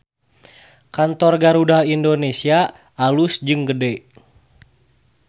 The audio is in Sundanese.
Kantor Garuda Indonesia alus jeung gede